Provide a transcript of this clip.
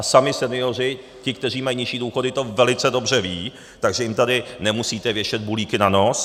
A sami senioři, ti kteří mají nižší důchody, to velice dobře vědí, takže jim tady nemusíte věšet bulíky na nos.